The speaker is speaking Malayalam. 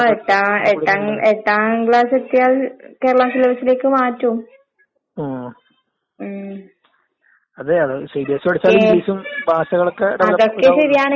ഏ ശമ്പളോക്കെ കിട്ടുന്ന ജോലി കിട്ടുന്ന അന്നേരം നമ്മള് മനസ്സിലാവും. ഇപ്പം നമ്മ വിചാരിക്കും എന്തിന് ഒര് ഏ പിന്നെ മൂന്ന് വർഷേല്ലാം എന്തിനാ വെറുതെ കളയുന്നെ വേസ്റ്റ് ആക്കുന്നേന്നൊക്കെ വിചാരിക്കും.